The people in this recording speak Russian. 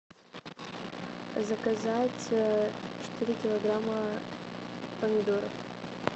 заказать четыре килограмма помидор